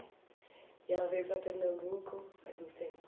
E ela veio para Pernambuco faz muito tempo?